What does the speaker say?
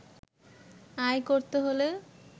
আয় করতে হলে